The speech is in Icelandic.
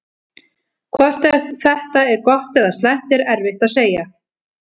Hvort þetta er gott eða slæmt er erfitt að segja.